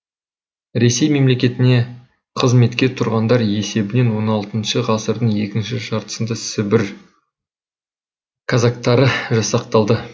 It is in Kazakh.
ресей мемлекетіне қызметке тұрғандар есебінен он алтыншы ғасырдың екінші жартысында сібір казактары жасақталды